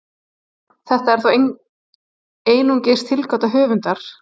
þetta er þó einungis tilgáta höfundar